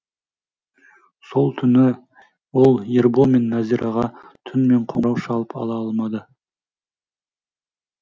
сол түні ол ербол мен нәзираға түнімен қоңырау шалып ала алмады